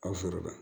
Aw foro la